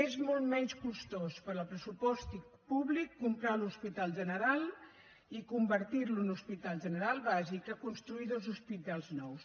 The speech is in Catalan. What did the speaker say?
és molt menys costós per al pressupost públic comprar l’hospital general i convertir lo en hospital general bàsic que construir dos hospitals nous